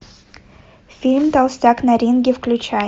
фильм толстяк на ринге включай